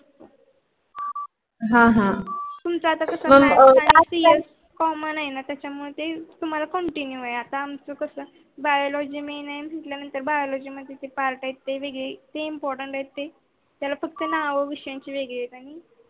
तुमच आता कस Common आहे न त्याच्या मध्ये तुम्हाला Continue आहे. Biology नाही न नाही नतर Biology part त्याला नाव आहे त्याच्या मध्ये.